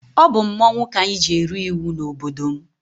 Ọ bụ mmọnwụ ka anyị ji eri iwu n'obodo m.